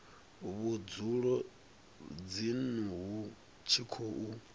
vhudzulo dzinnu hu tshi khou